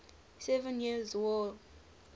seven years war